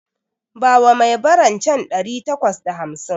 Bawa mai baran can ɗari takwas da hamsin